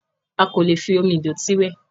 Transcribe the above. A kò lè fi omi ìdọ̀tí wẹ̀.